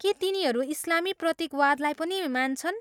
के तिनीहरू इस्लामी प्रतीकवादलाई पनि मान्छन्?